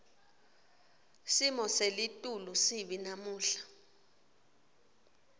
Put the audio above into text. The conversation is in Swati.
simo selitulu sibi namuhla